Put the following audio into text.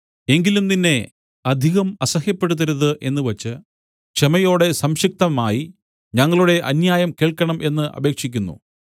എങ്കിലും നിന്നെ അധികം അസഹ്യപ്പെടുത്തരുത് എന്നുവച്ച് ക്ഷമയോടെ സംക്ഷിപ്തമായി ഞങ്ങളുടെ അന്യായം കേൾക്കണം എന്ന് അപേക്ഷിക്കുന്നു